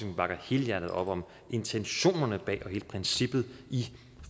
vi bakker helhjertet op om intentionerne bag og hele princippet i